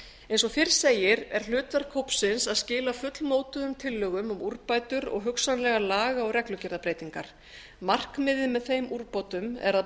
eins og fyrr segir er hlutverk hópsins að skila fullmótuðum tillögum um úrbætur og hugsanlegar laga og reglugerðarbreytingar markmiðið með þeim úrbótum er að